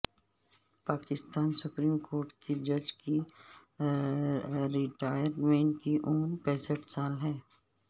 Pakistan supreme court کے جج کی ریٹائرمنٹ کی عمر پینسٹھ سال ہے